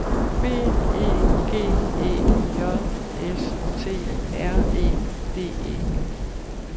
B E G E J S T R E D E